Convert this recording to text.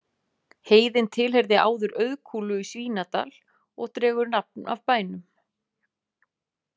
Heiðin tilheyrði áður Auðkúlu í Svínadal og dregur nafn af bænum.